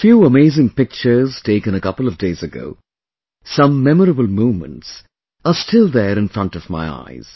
A few amazing pictures taken a couple of days ago, some memorable moments are still there in front of my eyes